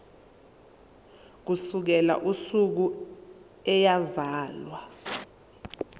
ukusukela usuku eyazalwa